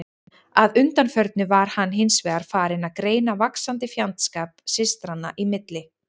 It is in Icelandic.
Að undanförnu var hann hins vegar farinn að greina vaxandi fjandskap systranna í milli.